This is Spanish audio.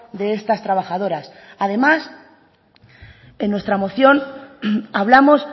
de estas trabajadoras además en nuestra moción hablamos